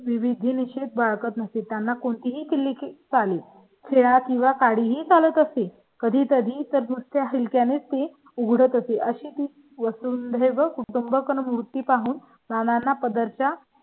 विधिनिषेध बाळगत नसे त्यांना कोणतीही चाले खडे किंवा काळी काही ही चालत असेल कधी तरी तर दुसऱ्या ने ती उघडते अशी ती वसुंधरे व कुटुंब मूर्ती पाहून नाना पदार्थ चा